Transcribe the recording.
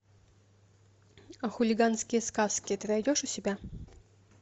а хулиганские сказки ты найдешь у себя